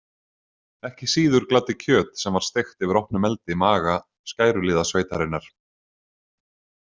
Ekki síður gladdi kjöt sem var steikt yfir opnum eldi maga skæruliðasveitarinnar.